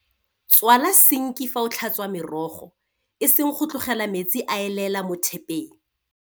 Tswala sinki fa o tlhatswa merogo, e seng go tlogela metsi a elela mo thepeng.